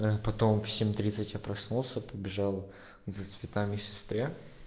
а потом в семь тридцать я проснулся побежал за цветами сестре